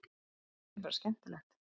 Þetta er bara skemmtilegt